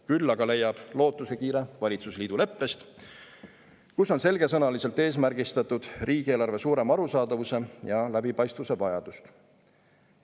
Küll aga leiab lootuskiire valitsusliidu leppest, kus on selgesõnaliselt eesmärgistatud riigieelarve suurema arusaadavuse ja läbipaistvuse vajadus.